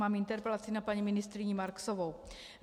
Mám interpelaci na paní ministryni Marksovou.